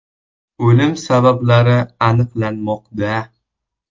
O‘lim sabablari aniqlanmoqda.